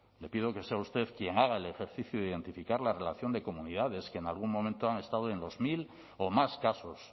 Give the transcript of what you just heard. le pido que sea usted quien haga el ejercicio de identificar la relación de comunidades que en algún momento han estado en los mil o más casos